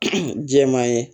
jɛman ye